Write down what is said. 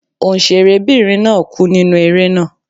Òǹṣẹ̀rẹ́ bìnrin náà kú nínú eré náà.